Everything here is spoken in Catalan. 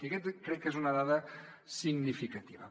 i aquesta crec que és una dada significativa